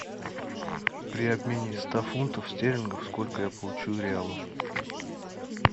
при обмене ста фунтов стерлингов сколько я получу реалов